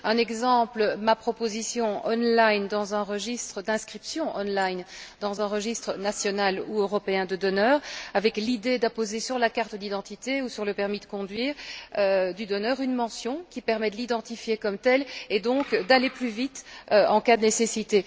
Un exemple ma proposition d'inscription en ligne dans un registre, dans un registre national ou européen de donneurs, avec l'idée d'apposer sur la carte d'identité ou sur le permis de conduire du donneur une mention qui permet de l'identifier comme tel et donc d'aller plus vite en cas de nécessité.